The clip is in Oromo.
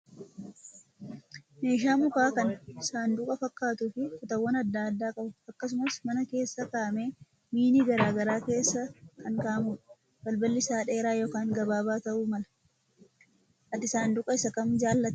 Meeshaan mukaa kan saanduqa fakkaatuu fi kutaawwan adda addaa qabu akkasumas mana keessa kaa'amee miini garaagaraa keessa kan kaa'amudha. Balballi isaas dheeraa yookan gabaabaa ta'uu mala. Ati saanduqa isa kam jaallatta?